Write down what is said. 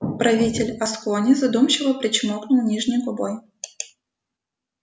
правитель аскони задумчиво причмокнул нижней губой